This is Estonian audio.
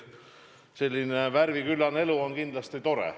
Selline värviküllane elu on kindlasti tore.